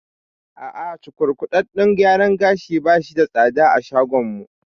A'a, cukurkuɗaɗɗen gyaran gashin bashi da tsada a shagon mu